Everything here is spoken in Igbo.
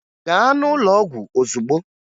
Gaa n'ụlọ ọgwụ ozugbo!